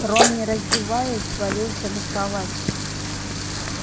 рон не раздеваясь свалился на кровать